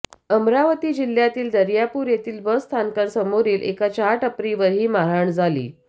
अमरावती जिल्ह्यातील दर्यापूर येथील बस स्थानकासमोरील एका चहा टपरीवर ही मारहाण झाली